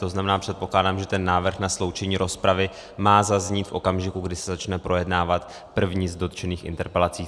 To znamená, předpokládám, že ten návrh na sloučení rozpravy má zaznít v okamžiku, kdy se začne projednávat první z dotčených interpelací.